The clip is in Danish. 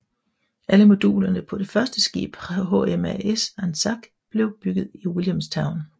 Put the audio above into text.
Alle modulerne på det første skib HMAS Anzac blev bygget i Williamstown